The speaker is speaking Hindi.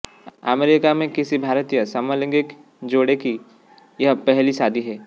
अमेरिका में किसी भारतीय समलैंगिक जोड़े की यह पहली शादी है